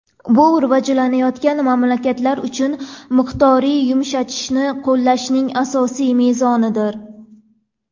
Bu rivojlanayotgan mamlakatlar uchun miqdoriy yumshatishni qo‘llashning asosiy mezonidir.